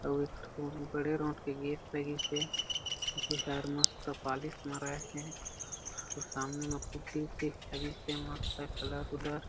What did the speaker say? अउ एक ठो बड़े रोठ के गेट लगिस हे जेहर मस्त पालिश माराए हे अउ सामने में पुट्ठी ऊटी लगिस हे मस्त हे कलर उलर--